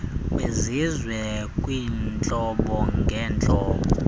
kwizizwe kwiintlobo ngentlobo